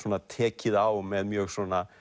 tekið á með mjög